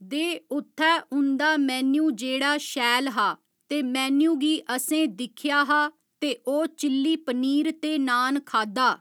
दे उत्थै उंदा मेन्यू जेह्ड़ा शैल हा ते मेन्यू गी असें दिक्खेआ हा ते ओह् चिल्ली पनीर ते नान खाद्धा